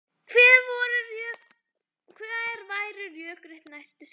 Hver væru rökrétt næstu skref?